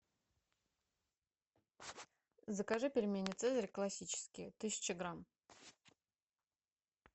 закажи пельмени цезарь классические тысяча грамм